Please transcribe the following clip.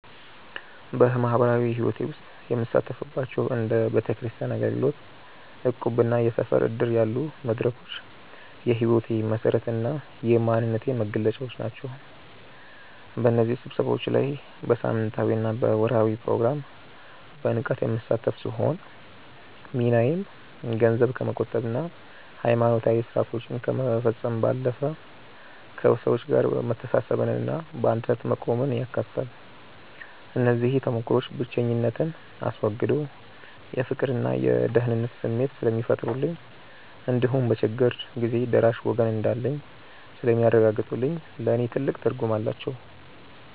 በማኅበራዊ ሕይወቴ ውስጥ የምሳተፍባቸው እንደ ቤተክርስቲያን አገልግሎት፣ እቁብና የሰፈር ዕድር ያሉ መድረኮች የሕይወቴ መሠረትና የማንነቴ መገለጫ ናቸው። በእነዚህ ስብሰባዎች ላይ በሳምንታዊና በወርኃዊ ፕሮግራም በንቃት የምሳተፍ ሲሆን፣ ሚናዬም ገንዘብ ከመቆጠብና ሃይማኖታዊ ሥርዓቶችን ከመፈጸም ባለፈ፣ ከሰዎች ጋር መተሳሰብንና በአንድነት መቆምን ያካትታል። እነዚህ ተሞክሮዎች ብቸኝነትን አስወግደው የፍቅርና የደህንነት ስሜት ስለሚፈጥሩልኝ እንዲሁም በችግር ጊዜ ደራሽ ወገን እንዳለኝ ስለሚያረጋግጡልኝ ለእኔ ትልቅ ትርጉም አላቸው።